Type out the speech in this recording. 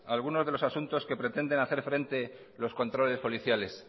algunos de los asuntos que pretenden hacer frente los controles policiales